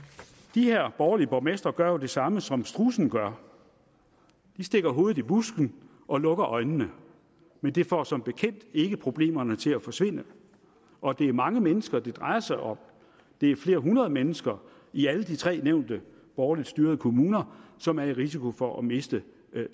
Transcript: de her borgerlige borgmestre gør jo det samme som strudsen gør de stikker hovedet i busken og lukker øjnene men det får som bekendt ikke problemerne til at forsvinde og det er mange mennesker det drejer sig om det er flere hundrede mennesker i alle de tre nævnte borgerligt styrede kommuner som har en risiko for at miste